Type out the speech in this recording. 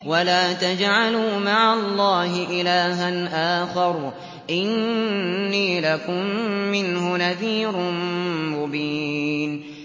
وَلَا تَجْعَلُوا مَعَ اللَّهِ إِلَٰهًا آخَرَ ۖ إِنِّي لَكُم مِّنْهُ نَذِيرٌ مُّبِينٌ